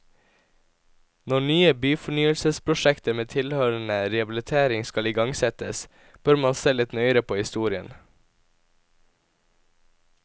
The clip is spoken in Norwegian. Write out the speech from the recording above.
Når nye byfornyelsesprosjekter med tilhørende rehabilitering skal igangsettes, bør man se litt nøyere på historien.